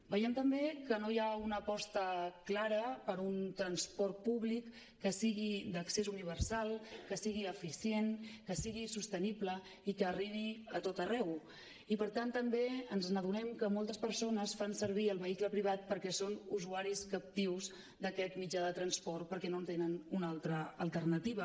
veiem també que no hi ha una aposta clara per un transport públic que sigui d’accés universal que sigui eficient que sigui sostenible i que arribi a tot arreu i per tant també ens adonem que moltes persones fan servir el vehicle privat perquè són usuaris captius d’aquest mitjà de transport perquè no tenen una altra alternativa